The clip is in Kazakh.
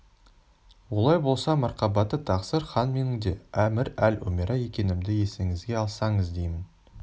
олай болса марқабатты тақсыр хан менің де әмір-эль-умера екенімді есіңізге алсаңыз деймін